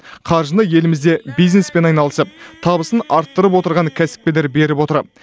қаржыны елімізде бизнеспен айналысып табысын арттырып отырған кәсіпкерлер беріп отыр